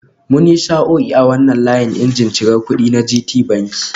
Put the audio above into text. Mun yi sa'o'i a wannan layin injin cir kudi na Gtbanki